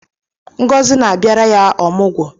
Ngozi na-abịara ya ọmụgwọ